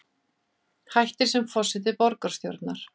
Hættir sem forseti borgarstjórnar